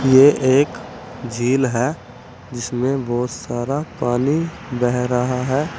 यह एक झील है जिसमें बहुत सारा पानी बह रहा है।